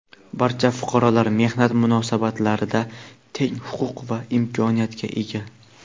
Barcha fuqarolar mehnat munosabatlarida teng huquq va imkoniyatga ega.